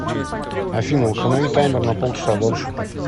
афина установи таймер на полчаса дольше